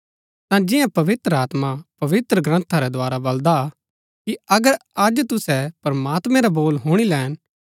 ता जिआं पवित्र आत्मा पवित्रग्रन्था रै द्धारा बलदा कि अगर अज तुसै प्रमात्मैं रा बोल हुणी लैन